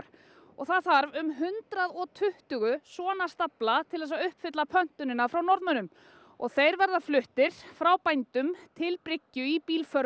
og það þarf um hundrað og tuttugu svona stafla til þess að uppfylla pöntunina frá Norðmönnum og þeir verða fluttir frá bændum til bryggju í